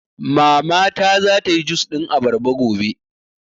Mama ta za ta yi jus ɗin abarba gobe